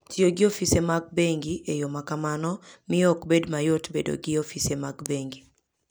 Tiyo gi ofise mag bengi e yo ma kamano, miyo ok bed mayot bedo gi ofise mag bengi.